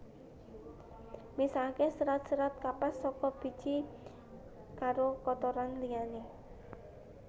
Misahke serat serat kapas saka biji karo kotoran liyane